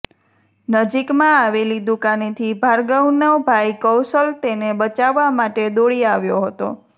નજીકમાં આવેલી દુકાનેથી ભાર્ગવનો ભાઇ કૌશલ તેને બચાવવા માટે દોડી આવ્યો હતો